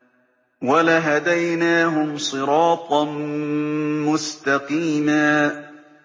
وَلَهَدَيْنَاهُمْ صِرَاطًا مُّسْتَقِيمًا